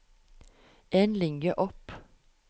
En linje opp